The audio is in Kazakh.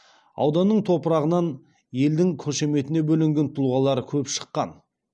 ауданның топырағынан елдің қошеметіне бөленген тұлғалар көп шыққан